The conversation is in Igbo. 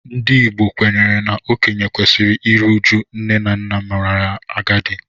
Ndị Igbo kwenyere na okenye kwesịrị iru uju nne na nna merela agadi